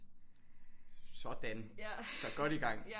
Sådan så godt i gang